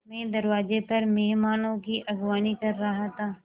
मैं दरवाज़े पर मेहमानों की अगवानी कर रहा था